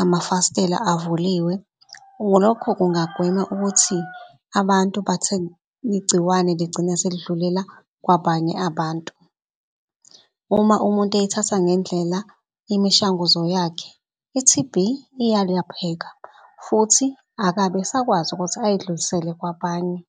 amafastela avuliwe. Lokho kungagwema ukuthi abantu igciwane ligcine selidlulela kwabanye abantu. Uma umuntu ey'thatha ngendlela imishanguzo yakhe i-T_B iyalaphela futhi akabe esakwazi ukuthi ayidlulisele kwabanye.